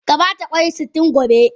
Ka ba ta kwai sitin gobe.